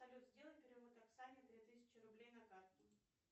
салют сделай перевод оксане три тысячи рублей на карту